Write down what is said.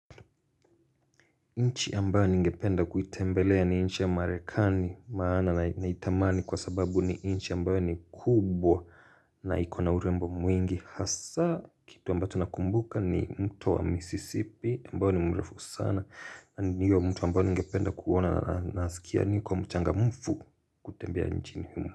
Nchi ambayo ningependa kuitembelea ni nchi ya marekani maana naitamani kwa sababu ni nchi ambayo ni kubwa na ikona urembo mwingi hasa kitu ambacho nakumbuka ni mto wa missisipi ambayo ni mrefu sana na ni hiyo mto ambayo ningependa kuona na nasikia niko mchangamfu kutembea nchini humu.